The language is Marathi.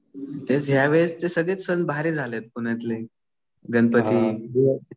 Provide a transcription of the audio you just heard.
तेच ह्या वेळेसचे सगळेच सण भारी झालेत पुण्यातले. गणपती